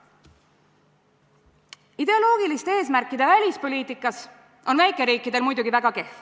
Ideoloogiliste eesmärkide välispoliitikas on väikeriikide olukord muidugi väga kehv.